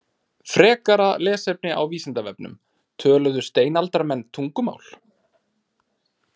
Frekara lesefni á Vísindavefnum: Töluðu steinaldarmenn tungumál?